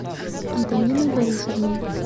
антониной борисовной